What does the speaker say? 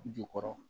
Jukɔrɔ